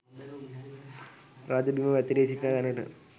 රජු බිම් වැතිරී සිටින තැනට